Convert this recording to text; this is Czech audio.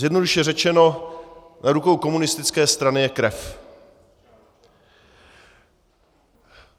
Zjednodušeně řečeno, na rukou komunistické strany je krev.